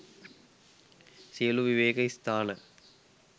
සියලු විවේක ස්ථාන